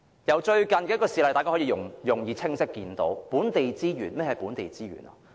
從最近的一件事例，大家可以容易、清晰地看到何謂本地資源。